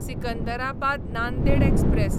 Secunderabad Nanded express